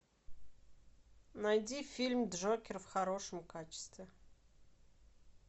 найди фильм джокер в хорошем качестве